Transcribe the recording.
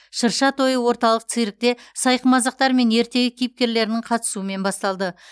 шырша тойы орталық циркте сайқымазақтар мен ертегі кейіпкерлерінің қатысуымен басталды